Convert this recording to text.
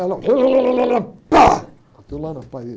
Ela, pá, bateu lá na parede.